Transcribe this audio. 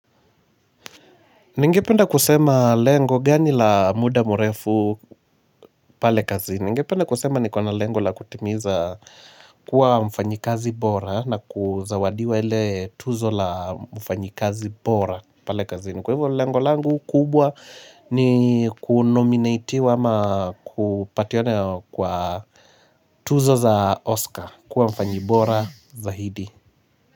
Nengependa kusema lengo gani la muda mrefu pale kazini. Nengependa kusema niko na lengo la, kutimiza kuwa mfanyikazi bora na kuzawadiwa ile tuzo la mfanyikazi bora pale kazini. Kwa hivyo lengo langu kubwa ni "kunominatiwa" ama kupatiana kwa "tuzo za Oscar" kuwa mfanyibora zaidi.